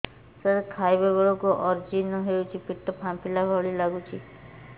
ସାର ଖାଇଲା ବେଳକୁ ଅଜିର୍ଣ ହେଉଛି ପେଟ ଫାମ୍ପିଲା ଭଳି ଲଗୁଛି